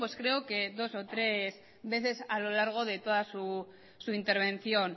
creo que dos o tres veces a lo largo de toda su intervención